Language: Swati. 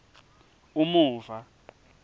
umuva